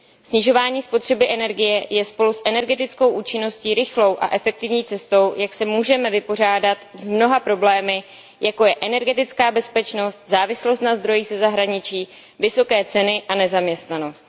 Snižování spotřeby energie je spolu s energetickou účinností rychlou a efektivní cestou, jak se můžeme vypořádat s mnoha problémy, jako je energetická bezpečnost, závislost na zdrojích ze zahraničí, vysoké ceny a nezaměstnanost.